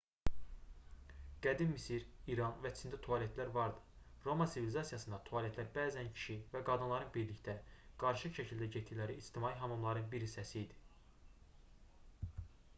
qədim misir i̇ran və çində tualetlər vardı. roma sivilizasiyasında tualetlər bəzən kişi və qadınların birlikdə qarışıq şəkildə getdikləri ictimai hamamların bir hissəsi idi